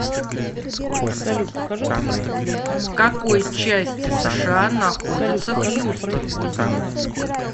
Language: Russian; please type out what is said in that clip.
в какой части сша находится хьюстон